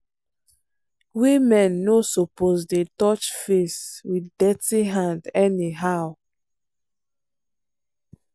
women no suppose dey touch face with dirty hand anyhow.